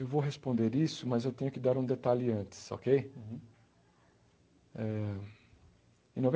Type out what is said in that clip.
Eu vou responder isso, mas eu tenho que dar um detalhe antes, okay? Eh em